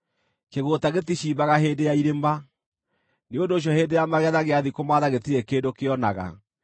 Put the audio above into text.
Kĩgũũta gĩticimbaga hĩndĩ ya irĩma; nĩ ũndũ ũcio hĩndĩ ya magetha gĩathiĩ kũmaatha gĩtirĩ kĩndũ kĩonaga.